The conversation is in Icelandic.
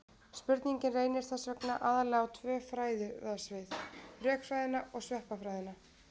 Spurningin reynir þess vegna aðallega á tvö fræðasvið: rökfræðina og sveppafræðina.